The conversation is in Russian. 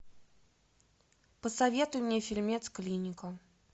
посоветуй мне фильмец клиника